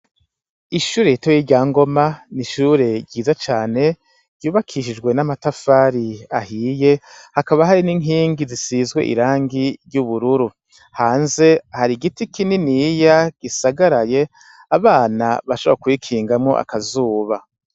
Ishure ritoya rya Ngoma ni ishure ryiza cane ryubakishijwe n' amatafari ahiye hakaba hari n' inkingi zisizwe irangi ry' ubururu hanze hari igiti kininiya gisagaraye abana bashobora kwikingamwo akazuba.